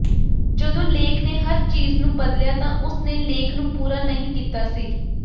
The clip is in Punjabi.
ਜਦੋਂ ਲੇਖ ਨੇ ਹਰ ਚੀਜ਼ ਨੂੰ ਬਦਲਿਆ ਤਾਂ ਉਸਨੇ ਲੇਖ ਨੂੰ ਪੂਰਾ ਨਹੀਂ ਕੀਤਾ ਸੀ